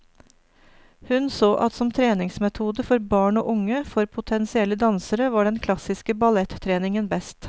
Hun så at som treningsmetode for barn og unge, for potensielle dansere, var den klassiske ballettreningen best.